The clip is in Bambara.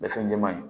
Bɛɛ fɛn jɛman ye